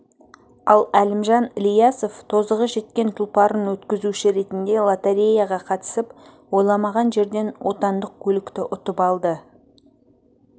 ал әлімжан ілиясов тозығы жеткен тұлпарын өткізуші ретінде лотореяға қатысып ойламаған жерден отандық көлікті ұтып алды